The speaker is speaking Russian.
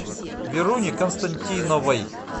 веруней константиновой